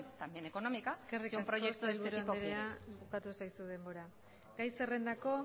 también económica eskerrik asko sailburu anderea bukatu zaizu denbora gai zerrendako